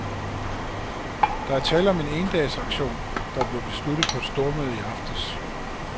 Der er tale om en endagsaktion, der blev besluttet på et stormøde i aftes.